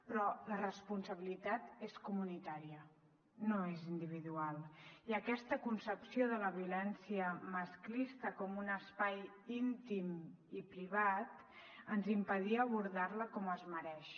però la responsabilitat és comunitària no és individual i aquesta concepció de la violència masclista com un espai íntim i privat ens impedia abordar la com es mereix